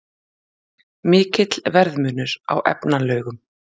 Mikill verðmunur á efnalaugum